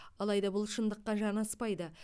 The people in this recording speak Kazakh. алайда бұл шындыққа жанаспайды